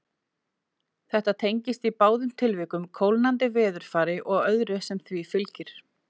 Þetta tengist í báðum tilvikum kólnandi veðurfari og öðru sem því fylgir.